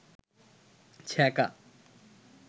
ছেকা